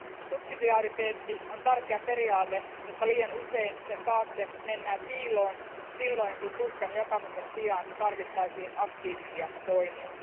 Subsidiariteetti on tärkeä periaate, mutta liian usein sen taakse mennään piiloon, silloin kun tuskan jakamisen sijaan tarvittaisiin aktiivisia toimia.